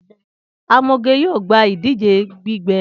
Amoge yoo gba idije gbígbẹ